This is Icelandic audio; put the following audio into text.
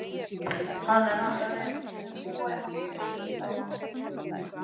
Hann er handa þeim sem búa í hamrinum stamaði hún.